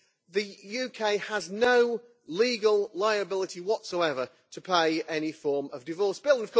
The UK has no legal liability whatsoever to pay any form of divorce bill.